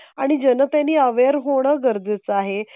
आणि जनते नी अवेर होणं गरजेचं आहे.